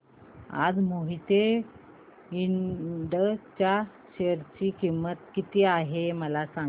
आज मोहिते इंड च्या शेअर ची किंमत किती आहे मला सांगा